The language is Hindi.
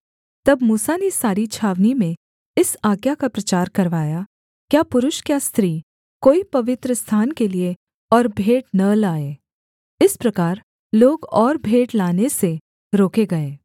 तब मूसा ने सारी छावनी में इस आज्ञा का प्रचार करवाया क्या पुरुष क्या स्त्री कोई पवित्रस्थान के लिये और भेंट न लाए इस प्रकार लोग और भेंट लाने से रोके गए